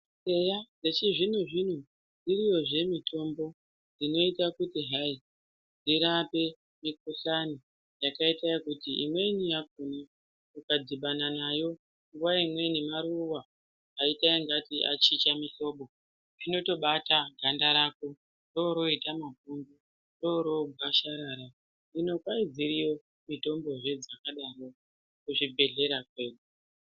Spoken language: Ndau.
Eya zvechizvino-zvino iriyozve mitombo inoita kuti hai irape mikhuhlani yakaite ekuti imweni yakhona ukadhibana nayo nguwa imweni maruwa aita ungati achinja mihlobo zvinotobata ganda rako roroita mapundu rorogwasharara hino kwai dziriyo mitombo dzakadaro kuzvibhedhlera kwedu.